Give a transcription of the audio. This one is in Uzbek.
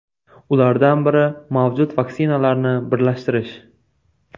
Ulardan biri mavjud vaksinalarni birlashtirish.